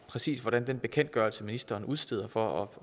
præcis hvordan den bekendtgørelse ministeren udsteder for at